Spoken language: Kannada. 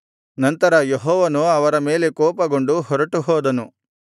ನಂತರ ಯೆಹೋವನು ಅವರ ಮೇಲೆ ಕೋಪಗೊಂಡು ಹೊರಟುಹೋದನು